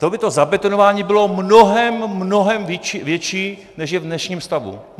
To by to zabetonování bylo mnohem mnohem větší, než je v dnešním stavu.